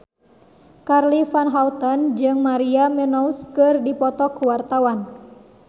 Charly Van Houten jeung Maria Menounos keur dipoto ku wartawan